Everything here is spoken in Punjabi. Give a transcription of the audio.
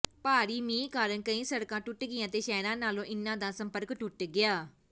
ਭਾਰੀ ਮੀਂਹ ਕਾਰਨ ਕਈ ਸੜਕਾਂ ਟੁੱਟ ਗਈਆਂ ਤੇ ਸ਼ਹਿਰਾਂ ਨਾਲੋਂ ਇਨ੍ਹਾਂ ਦਾ ਸੰਪਰਕ ਟੁੱਟ ਗਿਆ